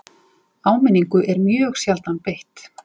Áminningu er mjög sjaldan beitt